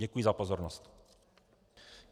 Děkuji za pozornost.